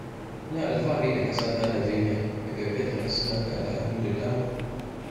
Ina alfahari da ƙasata Najeriya mai ɗauke da harsuna da al'adu da dama